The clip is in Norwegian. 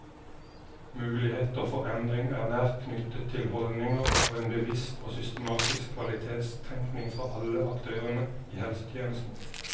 Muligheter for endring er nært knyttet til holdninger og en bevisst og systematisk kvalitetstenkning fra alle aktørene i helsetjenesten.